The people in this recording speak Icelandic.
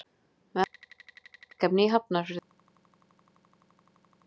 Við ætlum að gera verkefni í Hafnarfirði.